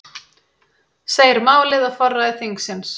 Segir málið á forræði þingsins